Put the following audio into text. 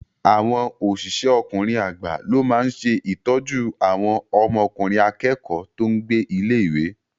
Àwọn osise ọkùnrin agba ló máa n se ìtọ́jú àwọn ọmọkùnrin akẹ́kọ̀ọ́ tó n gbé ilé-ìwé